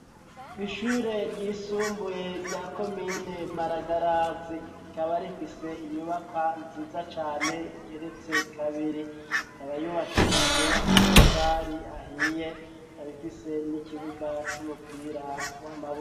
Ishure ry'isumbuye rya komine Maragarazi rikaba rifise inyubako nziza cane igeretse kabiri ikaba yubakishijwe amatafari ahiye ikaba ifise n'ikibuga c'umupira w'amaboko